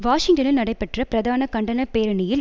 வாஷிங்டனில் நடைபெற்ற பிரதான கண்டன பேரணியில்